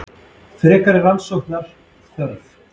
Frekari rannsóknar þörf